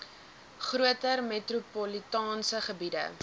groter metropolitaanse gebiede